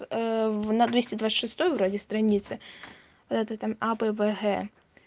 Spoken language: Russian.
в на двести двадцать шестой вроде странице это там а б в г